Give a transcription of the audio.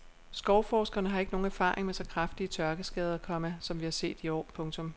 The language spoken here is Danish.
Skovforskerne har ikke nogen erfaring med så kraftige tørkeskader, komma som vi har set i år. punktum